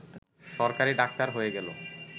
সরকারি ডাক্তার হয়ে গেল